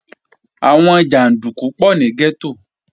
Àwọn jàndúkú pọ̀ ní gẹ́tò